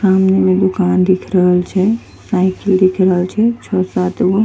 सामने मे दुकान दिख रहल छै साईकिल दिख रहल छै छो-सात गो।